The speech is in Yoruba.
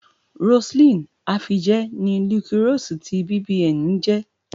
Roseline Afije ni Liquorose ti BBN ń jẹ́.